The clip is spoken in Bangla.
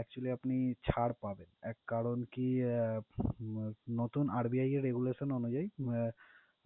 actually আপনি ছাড় পাবেন। এক কারণ কি উম RBI regulations অনুযায়ী আহ